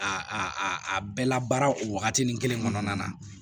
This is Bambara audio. A a a bɛɛ la baara o wagati ni kelen kɔnɔna na